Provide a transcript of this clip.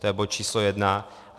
To je bod číslo jedna.